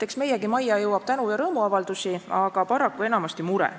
Eks meiegi majja jõuab tänu- ja rõõmuavaldusi, aga paraku enamasti mure.